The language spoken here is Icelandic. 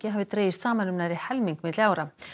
hafi dregist saman um nærri helming milli ára